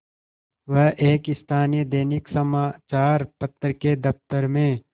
वह एक स्थानीय दैनिक समचार पत्र के दफ्तर में